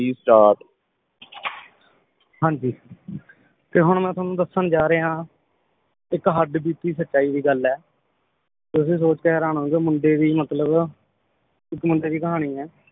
ਹਾਂਜੀ ਤੇ ਹੁਣ ਮੈ ਤੁਹਾਨੂੰ ਦੱਸਣ ਜਾਰ੍ਹਿਆਂ ਇੱਕ ਹੱਡ ਬੀਤੀ ਸਚਾਈ ਦੀ ਗੱਲ ਹੈ ਤੁਸੀ ਸੋਚ ਕੇ ਹੈਰਾਨ ਹੋਜੂੰਗੇ ਮੁੰਡੇ ਵੀ ਮਤਲਬ ਇਕ ਮੁੰਡੇ ਦੀ ਕਹਾਣੀ ਏ